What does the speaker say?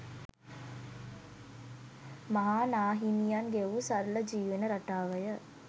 මහා නා හිමියන් ගෙවූ සරල, ජීවන රටාව ය.